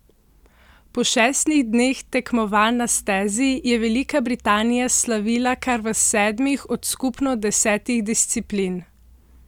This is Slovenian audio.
Po šestih dneh tekmovanj na stezi je Velika Britanija slavila kar v sedmih od skupno desetih disciplin!